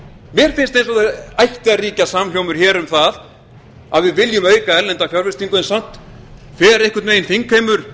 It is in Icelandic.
mér finnst eins og það ætti að ríkja samhljómur um að við viljum auka erlenda fjárfestingu en samt fer einhvern veginn þingheimur